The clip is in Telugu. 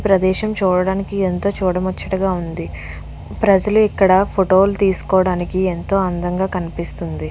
ప్రదేశం చూడడానికి ఎంతో చూడ ముచ్చటగా ఉంది ప్రజలు ఇక్కడ ఫోటో లు తీసుకోవడానికి ఎంతో అందంగా కనిపిస్తుంది.